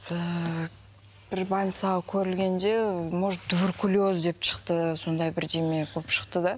так бір больницаға көрінгенде может туберкулез деп шықты сондай бірдеме болып шықты да